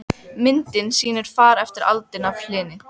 Já en mamma, ég vil miklu heldur vera hérna.